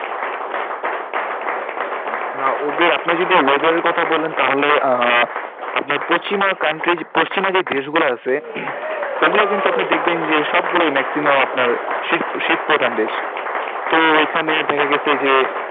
না ওদের আপনি যদি weather এর কথা বলেন তাহলে আহ আপনার পশ্চিমা country পশ্চিমা যে দেশগুলো আছে ওগুলো কিন্তু আপনি দেখবেন যে সব গুলোই maximum আপনার শীত শীতপ্রধান দেশ তো ওইখানে দেখা গেছে যে,